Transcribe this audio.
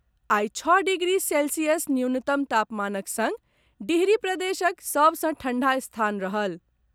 आइ छओ degree Celsius न्यूनतम तापमानक संग डिहरी प्रदेशक सभ सँ ठंढा स्थान रहल।